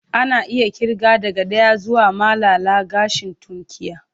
Ana iya ƙirga daga ɗaya zuwa malala gashin tunkiya.